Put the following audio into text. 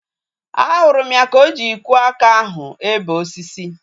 Ahụrụ m ya ka o ji ikwo aka ahu ebe osisi